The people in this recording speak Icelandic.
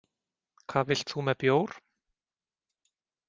Hvað vilt þú með bjór?